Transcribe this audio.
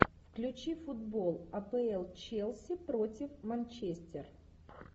включи футбол апл челси против манчестер